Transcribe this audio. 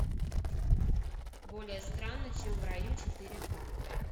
более странно чем в раю четыре ка